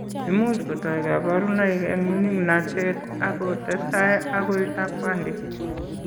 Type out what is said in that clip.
Imuch kotoi kabarunoik eng' mining'natet ako testai akoi lakwandit.